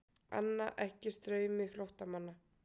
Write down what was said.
Anna ekki straumi flóttamanna